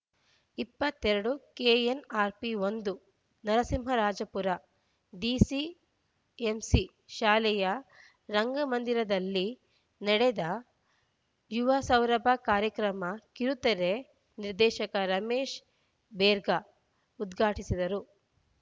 ಇಪ್ಪತ್ತ್ ಎರಡು ಕೆಎನ್‌ಆರ್‌ಪಿ ಒಂದು ನರಸಿಂಹರಾಜಪುರ ಡಿಸಿಎಂಸಿ ಶಾಲೆಯ ರಂಗಮಂದಿರದಲ್ಲಿ ನಡೆದ ಯುವಸೌರಭ ಕಾರ್ಯಕ್ರಮ ಕಿರುತೆರೆ ನಿರ್ದೇಶಕ ರಮೇಶ್‌ ಬೇರ್ಗ ಉದ್ಘಾಟಿಸಿದರು